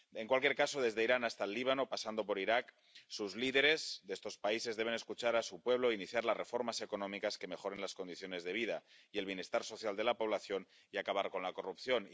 En cualquier caso, desde Irán hasta el Líbano, pasando por Irak, los líderes de estos países deben escuchar a su pueblo e iniciar las reformas económicas que mejoren las condiciones de vida y el bienestar social de la población y acaben con la corrupción.